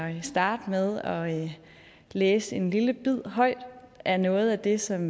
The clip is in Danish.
at starte med at læse en lille bid højt af noget af det som